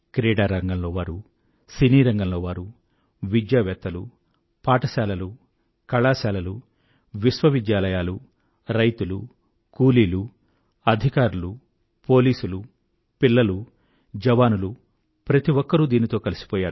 క్రీడారంగంలో వారు సినీ రంగంలో వారు విద్యావేత్తలు పాఠశాలలు కళాశాలలు విశ్వవిద్యాలయాలు రైతులు కూలీలు అధికారులు పోలీసులు పిల్లలు జవానులు ప్రతి ఒక్కరూ దీనితో కలిసిపోయారు